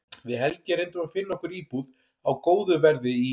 Við Helgi reyndum að finna okkur íbúð á góðu verði í